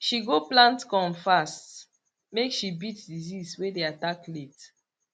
she go plant corn fast make she beat disease way dey attack late